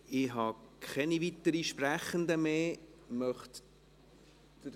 Ich habe keine weiteren Sprechenden mehr auf der Liste.